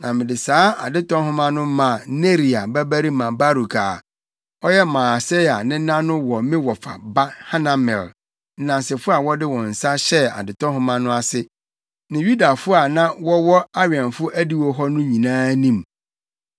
na mede saa adetɔ nhoma no maa Neria babarima Baruk + 32.12 Baruk—Ase ne “Awurade ahyira no.” Na ɔyɛ Yeremia kyerɛwfo nokwafo. a, ɔyɛ Maaseia nena no wɔ me wɔfa ba Hanamel, nnansefo a wɔde wɔn nsa hyɛɛ adetɔ nhoma no ase ne Yudafo a na wɔwɔ awɛmfo adiwo hɔ no nyinaa anim.